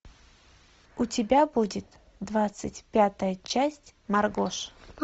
у тебя будет двадцать пятая часть маргоша